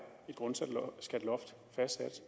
fastsat